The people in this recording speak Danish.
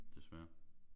Desværre